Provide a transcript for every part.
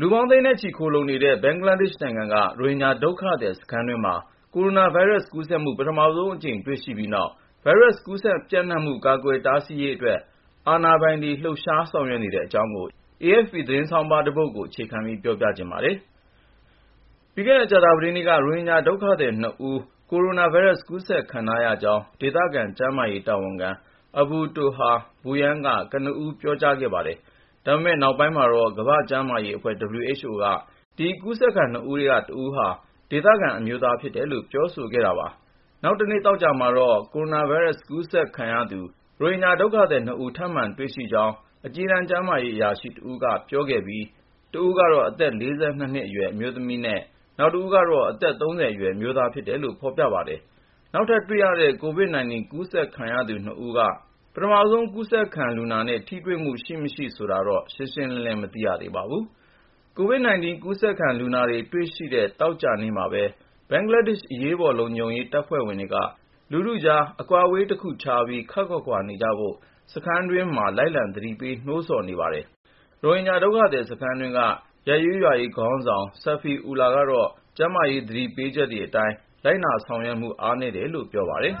လူပေါင်းသိန်းနဲ့ချီ ခိုလှုံနေတဲ့ ဘင်္ဂလားဒေ့ရှ်နိုင်ငံက ရိုဟင်ဂျာ ဒုက္ခသည်စခန်းတွင်းမှာ ကိုရိုနာဗိုင်းရပ်စ် ကူးစက်မှု ပထမဆုံးအကြိမ် တွေ့ရှိပြီးနောက် ဗိုင်းရပ်စ်ကူးစက်ပျံ့နှံ့မှု ကာကွယ်တားဆီးရေးအတွက် အာဏာပိုင်တို့ လှုပ်ရှားဆောင်ရွက်နေတဲ့အကြောင်း AFP သတင်းဆောင်းပါးကို ကိုဉာဏ်ဝင်းအောင် တင်ပြပေးထားပါတယ်။ ပြီးခဲ့တဲ့ ကြာသပတေးနေ့က ရိုဟင်ဂျာဒုက္ခသည် ၂ ဦး ကိုရိုနာဗိုင်းရပ်စ် ကူးစက်ခံထားရကြောင်း ဒေသဆိုင်ရာ ကျန်းမာရေးတာဝန်ခံ Abu Toha Bhuiyan က ကနဦး ပြောကြားခဲ့ပါတယ်။ ဒါပေမယ့် နောက်ပိုင်းမှာတော့ ကမ္ဘာ့ကျန်းမာရေးအဖွဲ့ (WHO) က ဒီ ကူးစက်ခံ ၂ ဦးထဲက တဦးဟာဆိုရင် ဒေသခံ အမျိုးသားဖြစ်တယ်လို့ ပြောဆိုခဲ့ပါတယ်။ နောက်တနေ့ သောကြာနေ့မှာတော့ ကိုရိုနာဗိုင်းရပ်စ် ကူးစက်ခံရသူ ရိုဟင်ဂျာဒုက္ခသည် ၂ ဦး ထပ်မံတွေ့ရှိရကြောင်း အကြီးတန်း ကျန်းမာရေးအရာရှိတဦးက ပြောဆိုခဲ့ပြီး တဦးကတော့ အသက် ၄၂ နှစ်အရွယ် အမျိုးသမီးဖြစ်ပြီး နောက်တဦးက အသက် ၃၀ အရွယ် အမျိုးသားဖြစ်တယ်လို့ ဖော်ပြပါတယ်။ နောက်ထပ်တွေ့ရတဲ့ COVID-19 ကူးစက်ခံရသူ ၂ ဦးက ပထမဆုံး ကူးစက်ခံလူနာတွေနဲ့ ထိတွေ့မှုရှိမရှိ ဆိုတာတော့ ရှင်းရှင်းလင်းလင်း မသိရပါဘူး။ COVID-19 ကူးစက်ခံလူနာတွေ တွေ့ရှိတဲ့ သောကြာနေ့မှာပဲ ဘင်္ဂလားဒေ့ရှ် အရေးပေါ် လုံခြုံရေးတပ်ဖွဲ့ဝင်တွေက လူထုကြား အကွာအဝေးတခုခြားပြီး ခပ်ခွာခွာနေကြဖို့ စခန်းတွေတွင်းမှာ လိုက်လံသတိပေး နှိုးဆော်ခဲ့ပါတယ်။ ရိုဟင်ဂျာ ဒုက္ခသည်စခန်းတွင်းက ရပ်ရေးရွာရေးခေါင်းဆောင် Safi Ullah ကတော့ ကျန်းမာရေး သတိပေးချက်တွေအတိုင်း လိုက်နာဆောင်ရွက်မှု အားနည်းတယ်လို့ ပြောပါတယ်။ “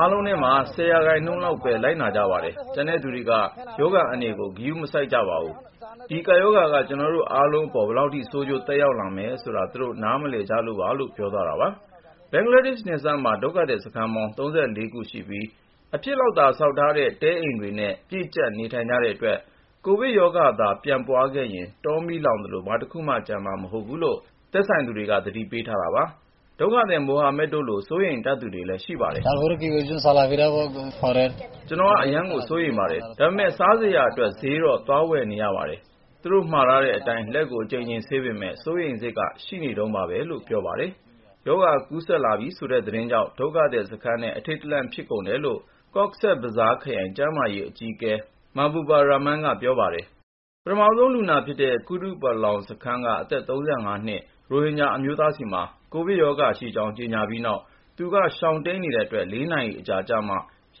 အားလုံးထဲမှာ ၁၀ ရာခိုင်နှုန်းလောက်ပဲ လိုက်နာကြပါတယ်။ ကျန်တဲ့သူတွေက ရောဂါအန္တရာယ်ကို ဂရုမစိုက်ကြပါဘူး။ ဒီကပ်ရောဂါက ကျနော်တို့အားလုံးအပေါ် ဘယ်လောက်ထိ ဆိုးကျိုးသက်ရောက်လာမယ်ဆိုတာ သူတို့ နားမလည်ကြလို့ပါ။” ဘင်္ဂလားဒေ့ရှ်နယ်စပ်မှာ ဒုက္ခသည်စခန်းပေါင်း ၃၄ ခုရှိပြီး အဖြစ်ဆောက်ထားတဲ့ တဲအိမ်တွေနဲ့ ပြည့်ကျပ်နေထိုင်ကြတဲ့အတွက် ကိုဗစ်ရောဂါသာ ပြန့်ပွားသွားခဲ့ရင် တောမီးလောင်သလို ဘာတခုမှ ကျန်မှာမဟုတ်ဘူးလို့ သက်ဆိုင်သူတွေ သတိပေးထားတာပါ။ မိုဟာမက်တို့လို စိုးရိမ်တတ်သူတွေလည်း ရှိပါတယ်။ “ကျနော် အရမ်းကို စိုးရိမ်ပါတယ်။ ဒါပေမယ့် ချက်စရာဝယ်ဖို့ ဈေးတော့ သွားနေရပါတယ်။ သူတို့မှာထားတဲ့အတိုင်း လက်ကို အကြိမ်ကြိမ်ဆေးပေမယ့် စိုးရိမ်စိတ်က ရှိနေတုန်းပါပဲ။” ရောဂါကူးစက်လာပြီဆိုတဲ့ ဒီသတင်းကြောင့် ဒုက္ခသည်စခန်းထဲ အထိတ်တလန့် ဖြစ်ကုန်တယ်လို့ ကော့ဇ်ဘဇားခရိုင် ကျန်းမာရေးဌာန အကြီးအကဲ Mahbubur Rahman က ပြောပါတယ်။ ပထမဆုံးလူနာဖြစ်တဲ့ ကုတုပလောင်စခန်းက အသက် ၃၅ နှစ် ရိုဟင်ဂျာ အမျိုးသားဆီမှာ ကိုဗစ်ရောဂါရှိကြောင်း ကြေညာပြီးနောက် သူက ရှောင်တိမ်းနေတဲ့အတွက် ၄ နာရီအကြာကျမှ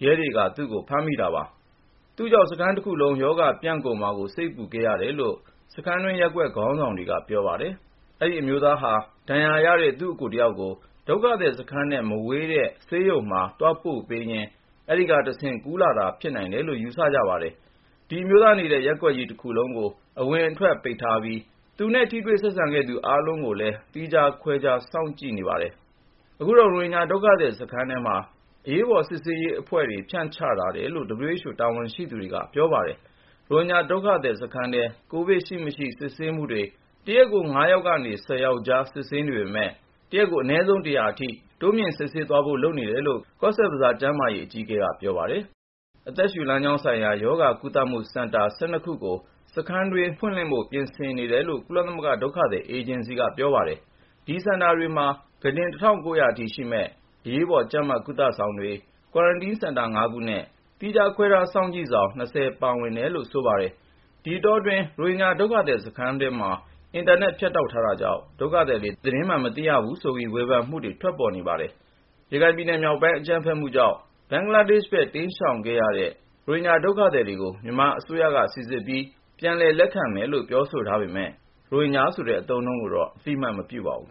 ရဲတွေ သူ့ကို တွေ့တာပါ။ သူ့ကြောင့် စခန်းတခုလုံး ရောဂါပြန့်ကုန်မှာကို စိတ်ပူခဲ့ရပါတယ်လို့ စခန်းတွင်း ရပ်ကွက်ခေါင်းဆောင်တွေက ပြောပါတယ်။ အဲဒီအမျိုးသားဟာ ဒဏ်ရာရတဲ့ သူ့အစ်ကိုတယောက်ကို ဒုက္ခသည်စခန်းနဲ့ မဝေးတဲ့ ဆေးရုံတခုကို သွားပို့ပေးရင်း အဲဒီကတဆင့် ကူးလာတာလို့ ယူဆနေကြပါတယ်။ ဒီအမျိုးသားနေတဲ့ ရပ်ကွက်ကြီး တခုလုံးကို အဝင်အထွက် ပိတ်ထားပြီး သူ့နဲ့ ထိတွေ့ဆက်ဆံခဲ့သူ အားလုံးကိုလည်း သီးခြားခွဲထား စစ်ဆေး စောင့်ကြည့်နေပါတယ်။ အခုတော့ ရိုဟင်ဂျာ ဒုက္ခသည်စခန်းတွေထဲမှာ အရေးပေါ် စုံစမ်းစစ်ဆေးရေးအသင်းတွေ ဖြန့်ချထားတယ်လို့ WHO တာဝန်ရှိသူတွေက ပြောပါတယ်။ ရိုဟင်ဂျာဒုက္ခသည်စခန်းထဲ ကိုဗစ်ရှိမရှိ စစ်ဆေးမှုတွေ တရက် ၅ ယောက်နဲ့ ၁၀ ယောက်ကြား စစ်နေပေမယ့် အနည်းဆုံး တရက်ကို ၁၀၀ အထိ တိုးမြှင့်စစ်သွားဖို့ လုပ်နေတယ်လို့ ကော့ဇ်ဘဇား ကျန်းမာရေးအကြီးအကဲက ပြောပါတယ်။ အသက်ရှူလမ်းကြောင်းဆိုင်ရာ ရောဂါကုသမှုစင်တာ ၁၂ ခုကို စခန်းတွင်း ပြင်ဆင်နေတယ်လို့ ကုလသမဂ္ဂ ဒုက္ခသည်အေဂျင်စီက ပြောပါတယ်။ အဲဒီစင်တာတွေမှာ ကုတင် ၁၉၀၀ ထိရှိမယ့် အရေးပေါ် ကြပ်မတ်ကုသဆောင်တွေ၊ Quarantine စင်တာ ၅ ခုနဲ့ သီးခြား ခွဲထားစောင့်ကြည့်ဆောင် ၂၀ ပါဝင်တယ်လို့ ဆိုပါတယ်။ ဒီအတောတွင်း ရိုဟင်ဂျာ ဒုက္ခသည်စခန်းထဲမှာ အင်တာနက် ဖြတ်တောက်ထားတာကြောင့် ဒုက္ခသည်တွေ သတင်းမှန် မသိရဘူးဆိုပြီး ဝေဖန်မှုတွေလည်း ရှိနေပါတယ်။ ရခိုင်ပြည်နယ်မြောက်ပိုင်း အကြမ်းဖက်မှုတွေကြောင့် ဘင်္ဂလားဒေ့ရှ်ဘက် တိမ်းရှောင်ရတဲ့ ရိုဟင်ဂျာ ဒုက္ခသည်တွေကို မြန်မာအစိုးရက စိစစ်ပြီး ပြန်လည်လက်ခံမယ်လို့ ပြောဆိုထားပေမယ့် ရိုဟင်ဂျာဆိုတဲ့ အသုံးအနှုန်းကိုတော့ အသိအမှတ် မပြုပါဘူး